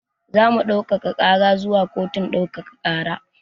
Zamu ɗaukaka ƙara zuwa kotun ɗaukaka ƙara